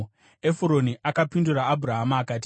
Efuroni akapindura Abhurahama akati,